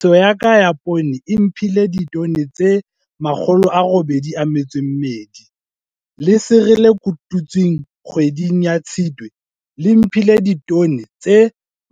Tlhahiso ya ka ya poone e mphile ditone tse 82. Lesere le kotutsweng kgweding ya Tshitwe le mphile ditone tse